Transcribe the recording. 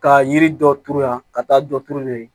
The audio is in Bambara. Ka yiri dɔ turu yan ka taa dɔ turu yen nɔ yen